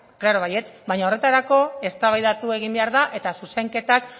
claro baietz baino horretarako eztabaidatu egin behar da eta zuzenketak